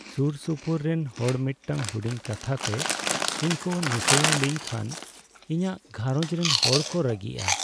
ᱥᱩᱨᱥᱩᱯᱩᱨ ᱨᱮᱱ ᱦᱚᱲ ᱢᱤᱫᱴᱟᱝ ᱦᱩᱰᱤᱧ ᱠᱟᱛᱷᱟ ᱛᱮ ᱤᱧ ᱠᱚ ᱱᱤᱥᱲᱟᱹᱣ ᱞᱤᱧ ᱠᱷᱟᱱ ᱤᱧᱟᱹᱜ ᱜᱷᱟᱨᱚᱸᱡᱽ ᱨᱮᱱ ᱦᱚᱲ ᱠᱚ ᱨᱟᱹᱜᱤᱜᱼᱟ ᱾